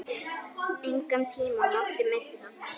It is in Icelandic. Engan tíma mátti missa.